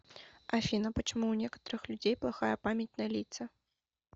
афина почему у некоторых людей плохая память на лица